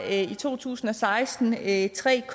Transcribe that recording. at i to tusind og seksten var det i tre